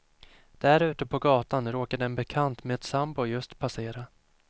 Där ute på gatan råkade en bekant med sambo just passera.